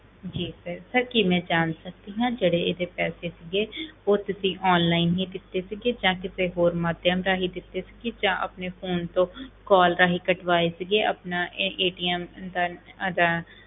ਜੀ sir sir ਕੀ ਮੈਂ ਜਾਣ ਸਕਦੀ ਹਾਂ ਜਿਹੜੇ ਇਹਦੇ ਪੈਸੇ ਸੀਗੇ ਉਹ ਤੁਸੀਂ online ਹੀ ਦਿੱਤੇ ਸੀ ਜਾਂ ਕਿਸੇ ਹੋਰ ਮਾਧਿਅਮ ਰਾਹੀਂ ਦਿੱਤੇ ਸੀ ਕਿ ਜਾਂ ਆਪਣੇ phone call ਰਾਹੀਂ ਕਟਵਾਏ ਸੀਗੇ ਆਪਣਾ ਇਹ ਦਾ ਇਹਦਾ